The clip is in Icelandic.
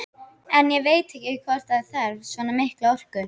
En ég veit ekkert hvort það þarf svona mikla orku.